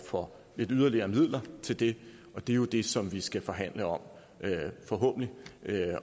for lidt yderligere midler til det og det er jo det som vi skal forhandle om forhåbentlig